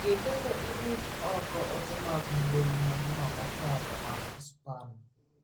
Ng'i kendo iruch ioko ote mag mbui mag Juma mokalo mag Span.